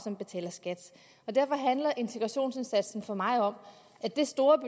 og derfor handler integrationsindsatsen for mig om at det store